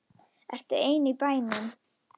Ertu þá ein í bænum?